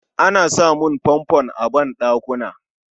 Ana samun Fanfon a banɗakuna